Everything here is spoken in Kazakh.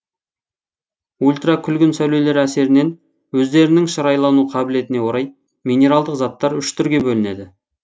ультракүлгін сәулелер әсерінен өздерінің шырайлану қабілетіне орай минералдық заттар үш түрге бөлінеді